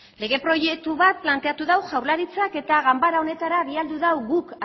lege proiektu bat planteatu du jaurlaritzak eta ganbara honetara bialdu du guk